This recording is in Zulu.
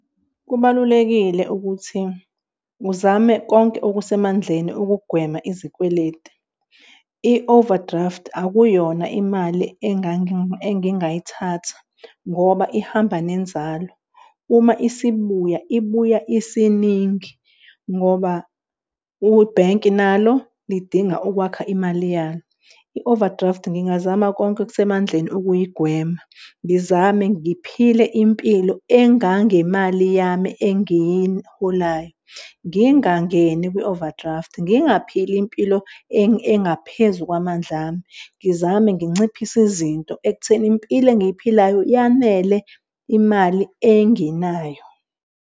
Kubalulekile ukuthi uzame konke okusemandleni ukugwema izikweletu. I-overdraft akuyona imali engingayithatha ngoba ihamba nenzalo uma isibuya ibuya isiningi ngoba ubhenki nalo lidinga ukwakha imali yalo. I-overdraft ngingazama konke okusemandleni ukuyigwema. Ngizame ngiphile impilo engangemali yami engiyiholayo, ngingangeni kwi-overdraft, ngingaphili impilo engaphezu kwamandla ami, ngizame nginciphise izinto ekutheni impilo engiyiphilayo yanele imali enginayo.